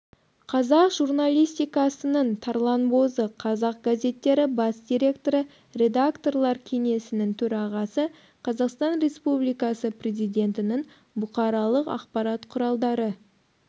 қазақ журналистикасының тарланбозы қазақ газеттері бас директоры редакторлар кеңесінің төрағасы қазақстан республикасы президентінің бұқаралық ақпарат құралдары